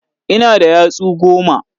Ina da yatsu goma.